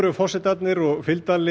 forsetarnir og fylgdarlið